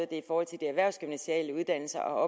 det for de erhvervsgymnasiale uddannelser